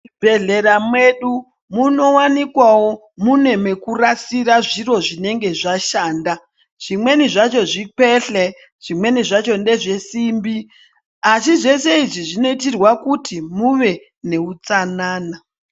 Muzvibhedhleya mwedu munowanikwawo mune mekurasira zviro zvinenge zvashanda zvimweni zvacho zvikwehle zvimweni zvacho ngezvesombi asi zvese izvi zvinoitirwa kuti muve neutsanana.